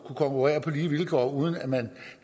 konkurrere på lige vilkår uden at man